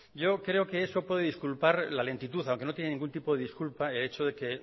yo creo que eso puede disculpar la lentitud aunque no tiene ningún tipo de disculpa el hecho de que